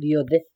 gĩothe